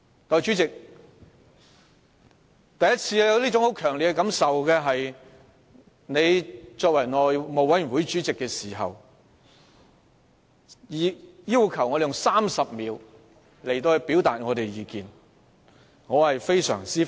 代理主席，我首次有這種強烈的感受，是當你出任內務委員會主席期間只給予議員30秒表達意見的時候。